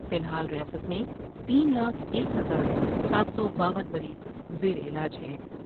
فی الحال ریاست میں تین لاکھ ایک ہزار سات سو باون مریض زیر علاج ہیں ۔